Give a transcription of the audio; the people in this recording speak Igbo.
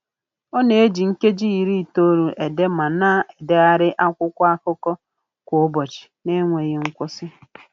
Ọ na-eji nkeji iri itoolu ede ma na-edegharị akwụkwọ akụkọ kwa ụbọchị n'enweghị nkwusị